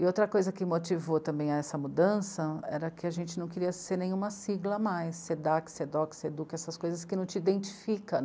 E outra coisa que motivou também essa mudança era que a gente não queria ser nenhuma sigla mais, sê ê dê á cê, sê ê dê ó cê, sê ê dê u cê á, essas coisas que não te identificam.